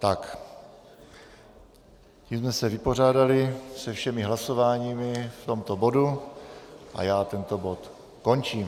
Tím jsme se vypořádali se všemi hlasováními v tomto bodu a já tento bod končím.